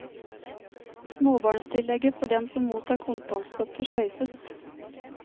Småbarnstillegget for dem som mottar kontantstøtte, sløyfes.